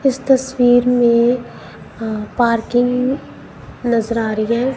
इस तस्वीर में अ पार्किंग नजर आ रही हैं।